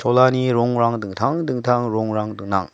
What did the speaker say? cholani rongrang dingtang dingtang rongrang gnang.